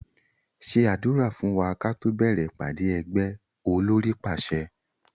Ṣé àdúrà fún wa káto bẹ̀rẹ̀ ìpàdé ẹgbẹ́! Olórí pàṣẹ